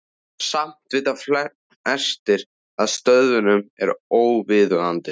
Samt vita flestir að stöðnun er óviðunandi.